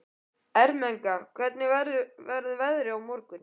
Ermenga, hvernig verður veðrið á morgun?